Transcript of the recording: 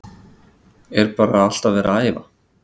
Er bara alltaf verið að æfa?